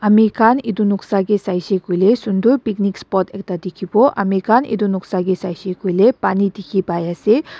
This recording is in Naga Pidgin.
ami khan etu noksa kae shaishae koilae sundor picnic spot ekta dikibo ami khan etu noksa kae saishae koilae pani diki pai asae.